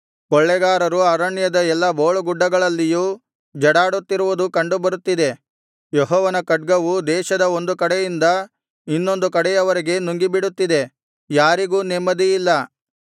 ಕೊಳ್ಳೆಗಾರರು ಅರಣ್ಯದ ಎಲ್ಲಾ ಬೋಳುಗುಡ್ಡಗಳಲ್ಲಿಯೂ ಜಡಾಡುತ್ತಿರುವುದು ಕಂಡು ಬರುತ್ತಿದೆ ಯೆಹೋವನ ಖಡ್ಗವು ದೇಶದ ಒಂದು ಕಡೆಯಿಂದ ಇನ್ನೊಂದು ಕಡೆಯವರೆಗೆ ನುಂಗಿಬಿಡುತ್ತಿದೆ ಯಾರಿಗೂ ನೆಮ್ಮದಿಯಿಲ್ಲ